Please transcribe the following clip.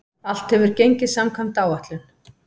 Allt hefur gengið samkvæmt áætlun.